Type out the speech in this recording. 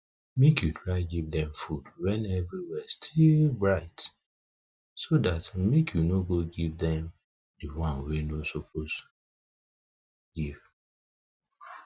make u try give them food when everywhere still bright so that make u no go give them the one wa u no suppose give